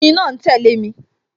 Oyin náà ń tẹle mi